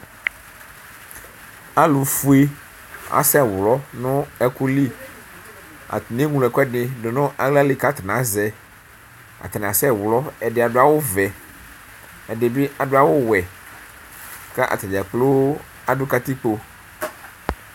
Alʋfue asɛwlɔ nʋ ɛkʋli atani eŋlo ɛkʋɛdi dʋnʋ aɣla li kʋ atani azɛ atani asɛ wlɔ ɛdi adʋ awʋvɛ ɛdibi adʋ awʋwɛkʋ atadza kploo adʋ katikpo